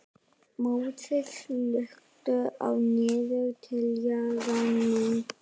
Móses, slökktu á niðurteljaranum.